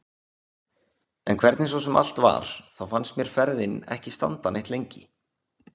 En hvernig svo sem allt var þá fannst mér ferðin ekki standa neitt lengi.